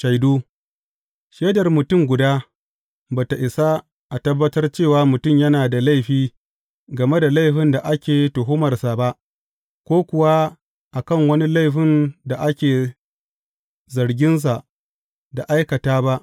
Shaidu Shaidar mutum guda ba tă isa a tabbatar cewa mutum yana da laifi game da laifin da ake tuhumarsa ba, ko kuwa a kan wani laifin da ake zaginsa da aikata ba.